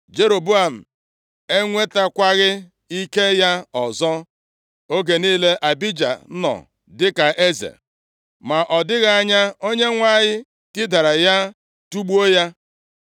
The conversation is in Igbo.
Jeroboam enwetakwaghị ike ya ọzọ oge niile Abija nọ dịka eze. Ma ọ dịghị anya Onyenwe anyị tidara ya tigbuo ya.